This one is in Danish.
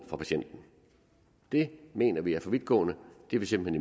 fra patienten det mener vi er for vidtgående det er vi simpelt